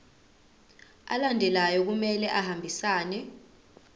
alandelayo kumele ahambisane